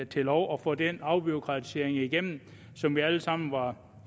til lov og få den afbureaukratisering igennem som vi alle sammen var